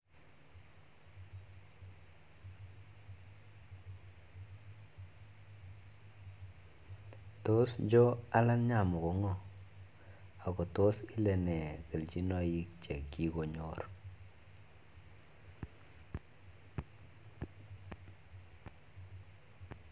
Tos Joe Allan Nyamu ko ngo ako tos kilee nee kelchinoik che kikonyor